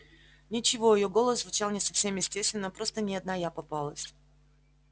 ничего её голос звучал не совсем естественно просто не одна я попалась